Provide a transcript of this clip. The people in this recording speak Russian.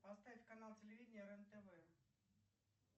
поставь канал телевидения рен тв